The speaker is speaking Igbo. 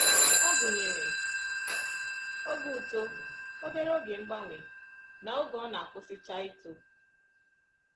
Ọ gụnyere oge uto, obere oge mgbanwe, na oge ọ na-akwụsịcha ito